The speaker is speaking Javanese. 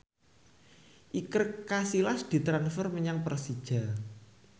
Iker Casillas ditransfer menyang Persija